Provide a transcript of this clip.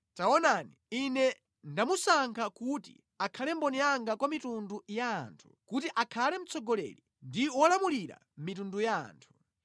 Taonani, ine ndamusankha kuti akhale mboni yanga kwa mitundu ya anthu, kuti akhale mtsogoleri ndi wolamulira mitundu ya anthu.